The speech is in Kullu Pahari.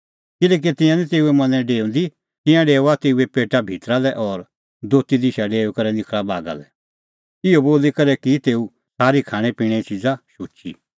किल्हैकि तिंयां निं तेऊए मनैं डेऊंदी तिंयां डेओआ तेऊए पेटा भितरा लै और दोती दिशा डेऊई करै निखल़ा बागा लै इहअ बोली करै की तेऊ सारी खाणैं पिणें च़िज़ा शुची